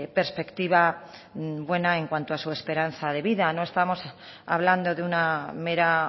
perspectiva buena en cuanto a su esperanza de vida no estamos hablando de una mera